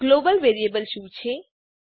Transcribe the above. global variable શું છે